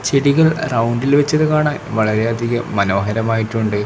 ചെടികൾ റൗണ്ടിൽ വെച്ചത് കാണാൻ വളരെയധികം മനോഹരമായിട്ടുണ്ട്.